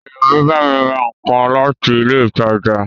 Èèyàn mi bámi ra nǹkan láti ilé ìtajà